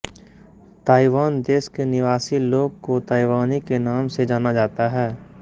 Taiwan देश के निवासी लोग को ताइवानी के नाम से जाना जाता हैं